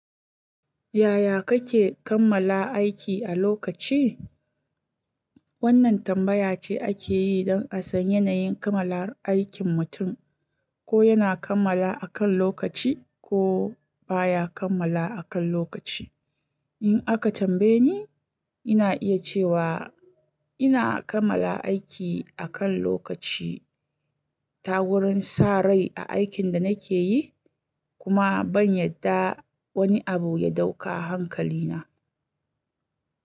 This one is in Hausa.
Yaya kake kammala aiki a lokaci? Wannan tambaya ce ake yi don a san yanayin kammalar aikin mutum, ko yana kammala a kan lokaci ko baya kammala akan lokaci. In aka tambaye ni, ina iya cewa ina kammala aiki a kan lokaci ta wurin sa rai a aikin da nake yi kuma ban yadda wani abu ya dauka hankalina.